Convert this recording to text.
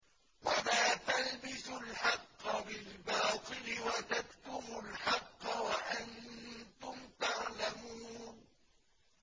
وَلَا تَلْبِسُوا الْحَقَّ بِالْبَاطِلِ وَتَكْتُمُوا الْحَقَّ وَأَنتُمْ تَعْلَمُونَ